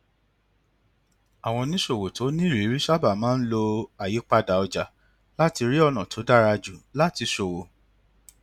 àwọn oníṣòwò tó nírìírí sábà máa ń lo àyípadà ọjà láti rí ọnà tó dára jù láti ṣòwò